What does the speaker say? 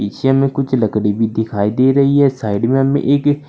पीछे में कुछ लकड़ी भी दिखाई दे रही है साइड में हमें एक--